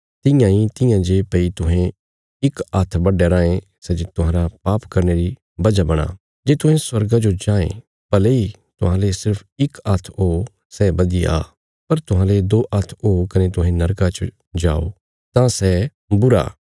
तियां इ तियां जे भई तुहें इक हात्थ बड्डया रांये सै जे तुहांरा पाप करने री वजह बणां जे तुहें स्वर्गा जो जांये भले इ तुहांले सिर्फ इक हात्थ हो सै बधिया पर तुहांले दो हात्थ हो कने तुहें नरका च जाओ तां सै बुरा